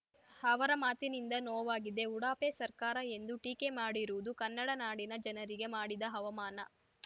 ಅವರ ಮಾತಿನಿಂದ ನೋವಾಗಿದೆ ಉಡಾಫೆ ಸರ್ಕಾರ ಎಂದು ಟೀಕೆ ಮಾಡಿರುವುದು ಕನ್ನಡ ನಾಡಿನ ಜನರಿಗೆ ಮಾಡಿದ ಅವಮಾನ